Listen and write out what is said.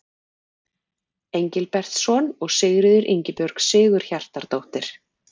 Engilbertsson og Sigríður Ingibjörg Sigurhjartardóttir.